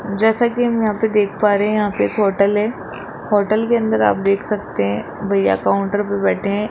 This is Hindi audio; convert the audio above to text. जैसा कि हम यहां पे देख पा रहे है यहां पे एक होटल है होटल के अंदर आप देख सकते है भईया काउंटर पे बैठे हैं।